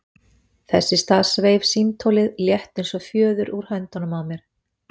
Þess í stað sveif símtólið, létt eins og fjöður, úr höndunum á mér.